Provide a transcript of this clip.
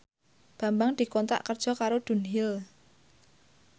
Bambang dikontrak kerja karo Dunhill